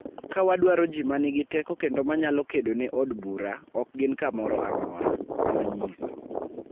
Ka wadwaro ji ma nigi teko kendo manyalo kedo ne od bur, ok gin kamoro amora," nonyiso.